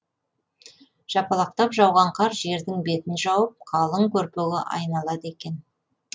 жапалақтап жауған қар жердің бетін жауып қалың көрпеге айналады екен